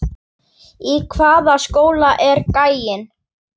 Í hvaða skóla er gæinn?